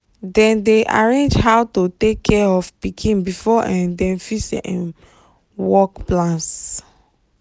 dem dey arrange how to take care of pikin before um dem fix um work plans.